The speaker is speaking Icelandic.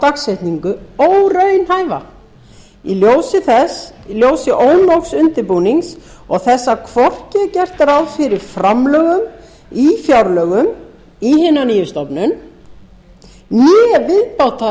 telur þá dagsetningu óraunhæfa í ljósi ónógs undirbúnings og þess að hvorki er gert ráð fyrir framlögum í fjárlögum til hinnar nýju stofnunar né